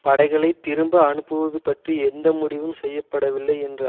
படைகளை திரும்ப அனுப்புவது பற்றி எந்த முடிவும் செய்ய படவில்லை என்று